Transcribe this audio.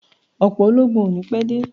Ọ̀pọ̀ ológun ò ní pé dé